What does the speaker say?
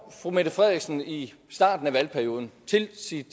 fru mette frederiksen i starten af valgperioden til sit